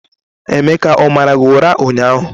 Emeka o mara gị ụra ụnyahụ?